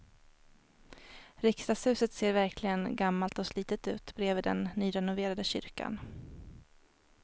Riksdagshuset ser verkligen gammalt och slitet ut bredvid den nyrenoverade kyrkan.